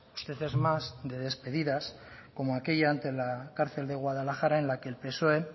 usted es más de despedidas como aquella ante la cárcel de guadalajara en la que el psoe